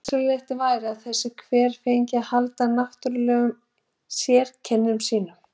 Æskilegt væri að þessi hver fengi að halda náttúrlegum sérkennum sínum.